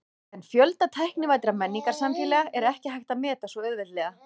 En fjölda tæknivæddra menningarsamfélaga er ekki hægt að meta svo auðveldlega.